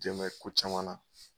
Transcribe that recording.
Jɛmɛ ko caman na